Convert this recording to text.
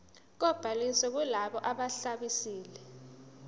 kobhaliso kulabo ababhalisile